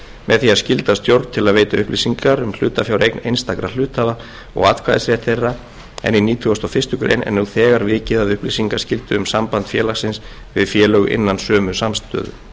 með því að skylda stjórn til að veita upplýsingar um hlutafjáreign einstakra hluthafa og atkvæðisrétt þeirra en í nítugasta og fyrstu grein er nú þegar vikið að upplýsingaskyldu um samband félagsins við félög innan sömu samstæðu